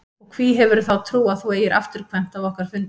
Og hví hefurðu þá trú að þú eigir afturkvæmt af okkar fundi?